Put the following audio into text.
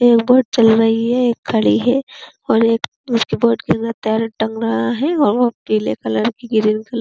एक बोट चल रही है। एक खड़ी है और एक उसके बोट के अन्दर टंगा है पीले कलर की ग्रीन कलर --